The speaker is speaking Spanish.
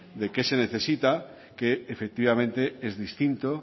de qué se necesita que efectivamente es distinto